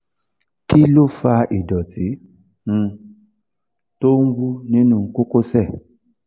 kí ló ń fa ìdọ̀tí tó um ń wú nínú kókósẹ̀?